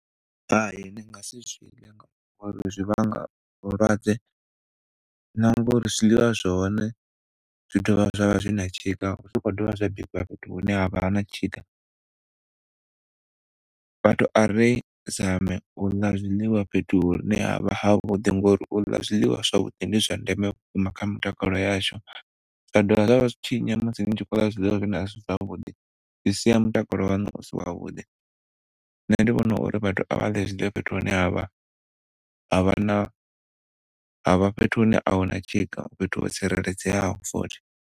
Hai, ndi nga si zwiḽe ngauri zwi vhanga vhulwadze na ngauri zwiḽiwa zwa hone zwi dovha zwa vha zwi na tshika zwi khou dovha zwa bikiwa fhethu hune ha vha na tshika. Vhathu ari zame uḽa zwiḽiwa fhethu hune havha ha vhuḓi ngauri u ḽa zwiḽiwa zwavhuḓi ndi zwa ndeme kha mitakalo yashu. Zwa dovha zwa vha zwi tshinyi musi ni khou ḽa zwiḽiwa zwine asi zwavhuḓi zwi sia mutakalo waṋu usi wavhuḓi. Nṋe ndi vhona uri vhathu a vhaḽe zwiḽiwa fhethu hune ha vha, ha vha na, ha vha fhethu hune a huna tshika, fhethu ho tsireledzeaho futhi.